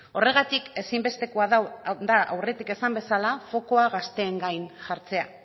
horregatik ezinbestekoa da aurretik esan bezala fokoa gazteen gain jartzea